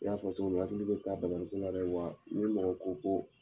I y'a fɔ cogo min hakili bɛ to a banali ko la dɛ wa ni mɔgɔ ko ko